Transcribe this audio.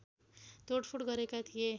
तोडफोड गरेका थिए